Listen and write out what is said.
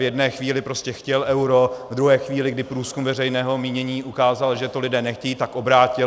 V jedné chvíli prostě chtěl euro, v druhé chvíli, kdy průzkum veřejného mínění ukázal, že to lidé nechtějí, tak obrátil.